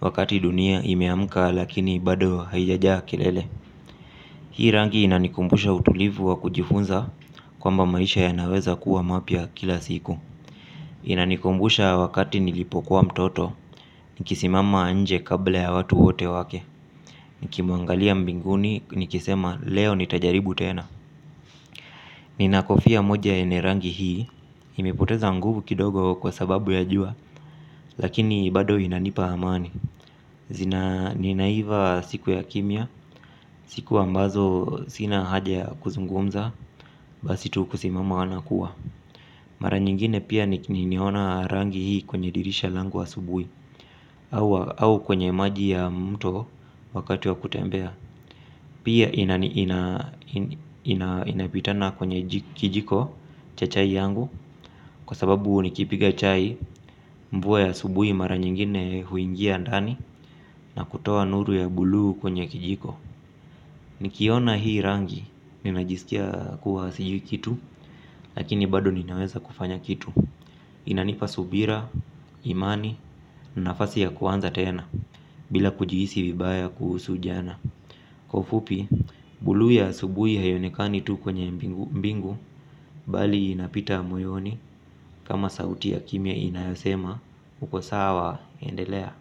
wakati dunia imeamka lakini bado haijajaa kelele. Hii rangi inanikumbusha utulivu wa kujifunza kwamba maisha yanaweza kuwa mapia kila siku. Inanikumbusha wakati nilipokuwa mtoto nikisimama nje kabla ya watu wote wake. Nikimuangalia mbinguni nikisema leo nitajaribu tena. Ninakofia moja ene rangi hii. Imepoteza nguvu kidogo kwa sababu ya jua. Lakini bado inanipa amani. Zina ninaiva siku ya kimia. Siku ambazo sina haja ya kuzungumza. Basi tu kusimama anakuwa. Mara nyingine pia nimeona rangi hii kwenye dirisha langu asubui. Au kwenye maji ya mto wakati wa kutembea. Pia inapitana kwenye kijiko cha chai yangu kwa sababu nikipiga chai mvuwa ya asubui mara nyingine huingia ndani na kutoa nuru ya bulu kwenye kijiko. Nikiona hii rangi ninajisikia kuwa sijui kitu lakini bado ninaweza kufanya kitu. Inanipa subira, imani, nafasi ya kuanza tena bila kujihisi vibaya kuhusu ujana. Kwa ufupi, bulu ya asubui haiyonekani tu kwenye mbingu bali inapita mweoni kama sauti ya kimia inayosema ukosawa endelea.